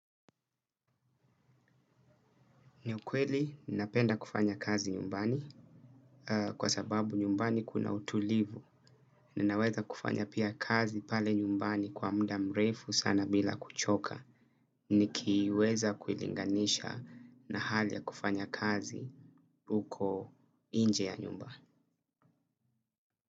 Ni ukweli nina penda kufanya kazi nyumbani kwa sababu nyumbani kuna utulivu, ninaweza kufanya pia kazi pale nyumbani kwa muda mrefu sana bila kuchoka, nikiweza kuilinganisha na hali ya kufanya kazi uko inje ya nyumba.